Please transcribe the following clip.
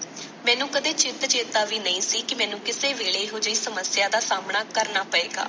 ਮੈਨੂੰ ਕਦੇ ਚਿੱਤ ਚੇਤਾ ਵੀ ਨਹੀਂ ਸੀ ਕੀ ਮੈਨੂੰ ਕਿਸੇ ਵੇਲੇ ਇਹੋ ਜਹੀ ਸਮੱਸਿਆ ਦਾ ਸਾਹਮਣਾ ਕਰਨਾ ਪਏਗਾ।